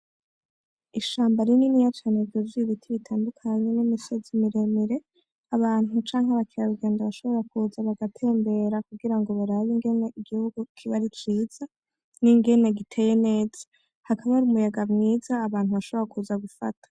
Ishamba rinini cane ryuzuye ibiti bitandukanye n'imisozi miremire, abantu canke abakerarugendo bashobora kuza, bagatembera kugira ngo barabe ingene igihugu kiba ari ciza n'ingene giteye neza, hakaba hari umuyaga mwiza, abantu bashobora kuza gufata.